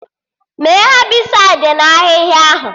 Mee Hebịsaịdi na ahịhịa ahụ!